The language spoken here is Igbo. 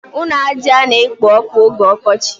Ụlọ ájá na-ekpo ọkụ oge ọkọchị.